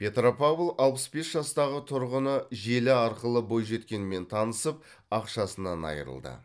петропавл алпыс бес жастағы тұрғыны желі арқылы бойжеткенмен танысып ақшасынан айырылды